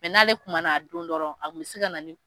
n'ale kun mana a don dɔrɔn a kun bɛ se ka na ni.